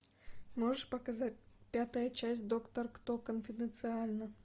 можешь показать пятая часть доктор кто конфиденциально